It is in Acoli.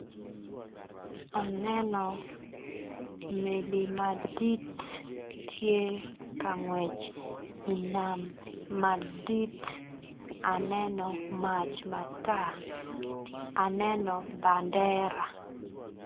Aneno meli madit tye kangwec i nam madit aneno mac matar aneno bandera.